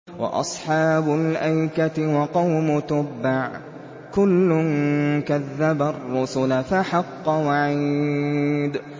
وَأَصْحَابُ الْأَيْكَةِ وَقَوْمُ تُبَّعٍ ۚ كُلٌّ كَذَّبَ الرُّسُلَ فَحَقَّ وَعِيدِ